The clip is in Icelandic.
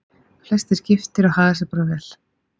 Flestir giftir og haga sér bara vel.